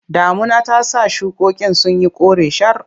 Damuna ta sa shukokin sun yi kore shar.